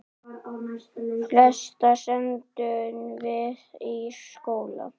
Flesta sendum við í skóla.